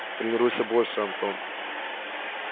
тренируйся больше антон